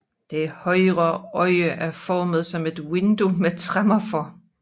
Det højre øje er formet som et vindue med tremmer for